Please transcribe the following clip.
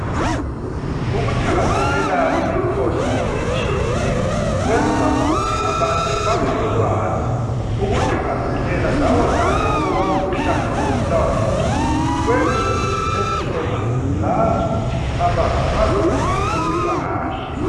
Ukuthakazelela imikhosi etshiyeneyo, kwenza ukuthi abantu babelolwazi. Ukuthakazelela lawonalo owomkhuhlane wokubulawa yingqondo, kwenza ukuthi lezihlobo, zazi ukuthi abazo , bazilethe kumpilakahle.